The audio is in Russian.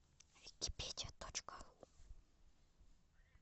википедия точка ру